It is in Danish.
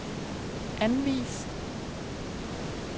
anvis